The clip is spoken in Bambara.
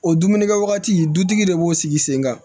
O dumunikɛwagati dutigi de b'o sigi sen kan